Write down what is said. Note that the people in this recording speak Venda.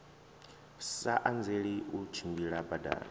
sa anzeli u tshimbila badani